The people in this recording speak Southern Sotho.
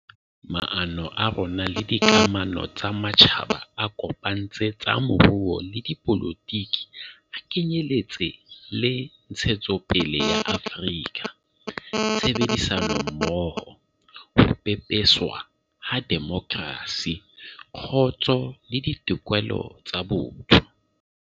Maano a rona le dikamano tsa matjhaba a kopantse tsa moruo le dipolotiki a ke nyeletse le ntshetsopele ya Afrika, tshebedisanommoho, ho pepeswa ha demokrasi, kgotso le ditokelo tsa botho.